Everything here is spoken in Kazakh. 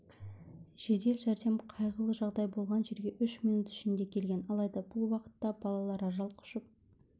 жедел жәрдем қайғылы жағдай болған жерге үш минут ішінде келген алайда бұл уақытта балалар ажал құшып